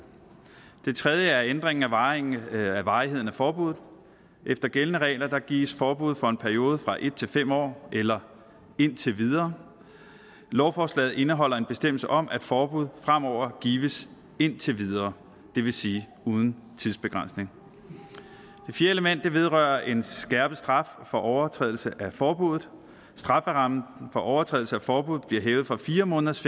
det tredje element er ændringen af varigheden af varigheden af forbuddet efter gældende regler gives forbud for en periode fra en fem år eller indtil videre lovforslaget indeholder en bestemmelse om at forbud fremover gives indtil videre det vil sige uden tidsbegrænsning det fjerde element vedrører en skærpet straf for overtrædelse af forbuddet strafferammen for overtrædelse af forbuddet bliver hævet fra fire måneders